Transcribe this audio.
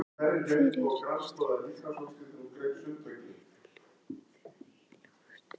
Hvernig er staðan á heimavelli þeirra í Ólafsvík?